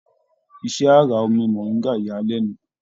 Iṣẹ àrà omí moringa yà a lẹnu.